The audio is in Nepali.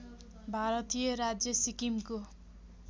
भारतीय राज्य सिक्किमको